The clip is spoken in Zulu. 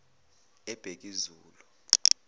ebhekuzulu